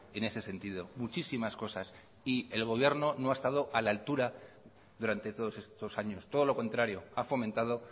en ese sentido muchísimas cosas y el gobierno no ha estado a la altura durante todos estos años todo lo contrario ha fomentado